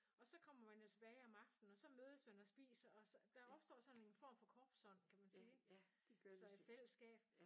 Og så kommer man jo tilbage om aftenen og så mødes man og spiser og så der opstår sådan en form for korpsånd kan man sige så et fællesskab